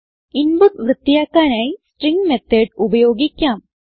input വൃത്തിയാക്കാനായി string method ഉപയോഗിക്കാം